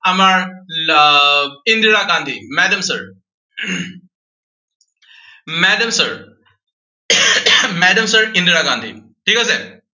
আমাৰ আহ Indira Gandhi. Madam, sir Madam, sir Madam, sir Indira Gandhi. ঠিক আছে।